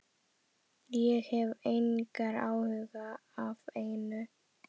Ég hef engar áhyggjur af neinu.